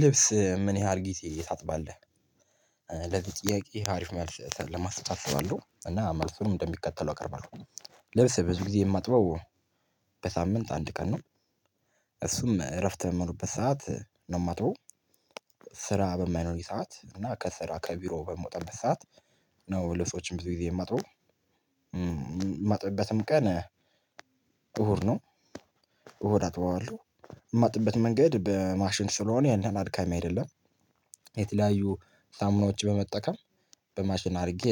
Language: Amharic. ልብስ ምን ያህል ጊዜ ታጥባለህ? ለዚህ ጥያቄ አሪፍ መልስ ለመስጠት አስባለሁ እና መልሱንም እንደሚከተለው አቀርባለሁ። ልብስ ብዙ ጊዜ የማጥበው በሳምንት አንድ ቀን ነው እ እሱም እረፍት በምሆንበት ሰዓት ነው ማጥበው ስራ በማይኖረኝ ሰዓት እና ከስራ ከቢሮ በምወጣበት ሰዓት ነው ልብሶችን ብዙ ጊዜ የማጥበው፥ ማጥብበትም ቀን እሁድ ነው። እሁድ አጥበዋለሁ። ማጥብበት መንገድ በማሽን ስለሆነ ያን ያህል አድካሚ አይደለም። የተለያዩ ሳሙናዎች በመጠቀም በማሽን አድርጌ